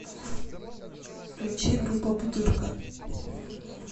включи группа бутырка